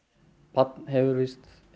barn hefur víst